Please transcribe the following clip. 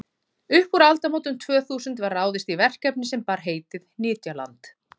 upp úr aldamótunum tvö þúsund var ráðist í verkefni sem bar heitið nytjaland